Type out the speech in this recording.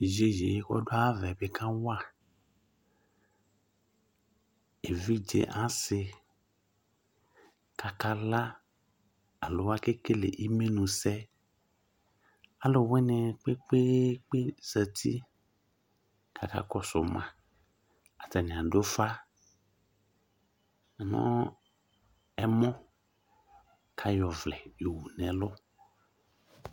Iyeye ƙɔdu aya kawa evidze asi kakala aluwa keƙele imenusɛ aluwunini zati kpekpe kakɔsu ma atani adu ufa nu ɛmɔ ayɔ ɔvlɛ yowu nɛlu